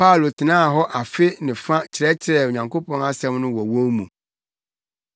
Paulo tenaa hɔ afe ne fa kyerɛkyerɛɛ Onyankopɔn asɛm no wɔ wɔn mu.